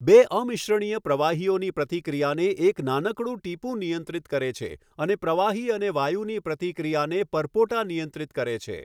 બે અમિશ્રણીય પ્રવાહીઓની પ્રતિક્રિયાને એક નાનકડું ટિપું નિયંત્રિત કરે છે, અને પ્રવાહી અને વાયુની પ્રતિક્રિયાને પરપોટા નિયંત્રિત કરે છે.